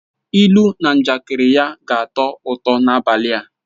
Ilu na njakịrị ya ga-atọ ụtọ n'abalị a